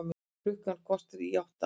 Klukkan korter í átta